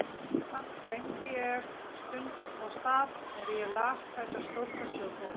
Samt gleymdi ég stund og stað er ég las þessa stórkostlegu bók.